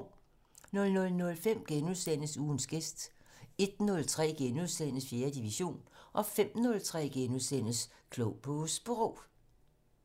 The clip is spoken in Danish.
00:05: Ugens gæst * 01:03: 4. division * 05:03: Klog på Sprog *